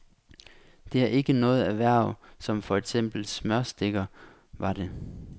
Det er ikke noget erhverv som for eksempel smørstikker var det.